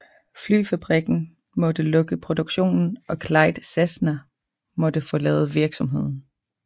Flyfabrikken måtte lukke produktionen og Clyde Cessna måtte forlade virksomheden